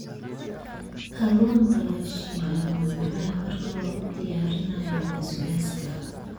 Kalluunka la shiilay waa macaan marka lagu diyaariyo basbaaska.